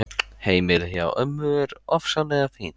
Heimilið hjá ömmu er ofsalega fínt.